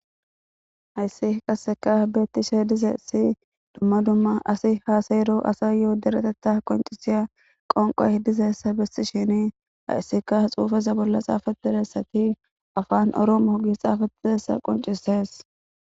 Hayssi qasseka beettishe dizessi dumma dumma asi haasaero asa yoo dereteta qoncisiya qonqoy dizeessa bessi shini hayssika xuufeza bolla xaafadiressati afaan arooma hogi xaafaiessa qoncisees.